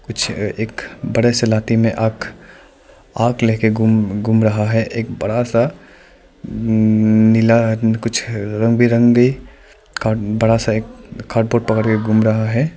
कुछ ए एक बड़ा सा लाठी में आग आग लेके गुम गुम रहा है एक बड़ा सा नअंनअं नीला कुछ रंग बिरंगे कड बड़ा सा एक कार्डबोर्ड पकड़के गुम रहा है।